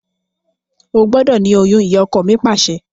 O gbọ́dọ̀ ni oyún! Ìyakọ mi Pàṣẹ.